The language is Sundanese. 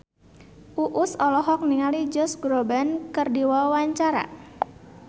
Uus olohok ningali Josh Groban keur diwawancara